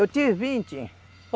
Eu tive vinte.